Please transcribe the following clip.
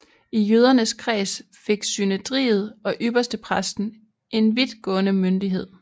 I jødernes kreds fik synedriet og ypperstepræsten en vidtgående myndighed